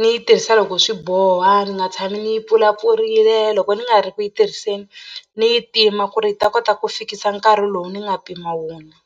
ni yi tirhisa loko swi boha ni nga tshami ni yi pfulapfurile loko ni nga ri ku yi tirhiseni ni yi tima ku ri yi ta kota ku fikisa nkarhi lowu ni nga pima wona.